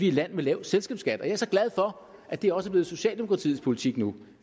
et land med lav selskabsskat og jeg er så glad for at det også er blevet socialdemokratiets politik nu